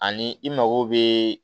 Ani i mago bɛ